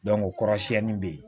kɔrɔ siɲɛni be yen